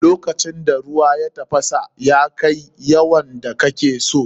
Lokacin da ruwan ya tafasa kuma ya kai yawan da kake so.